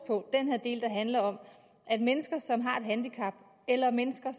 på den del der handler om at mennesker som har et handicap eller mennesker